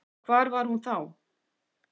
Hvar var hún þá?